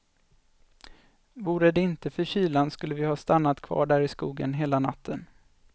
Vore det inte för kylan skulle vi ha stannat kvar där i skogen hela natten.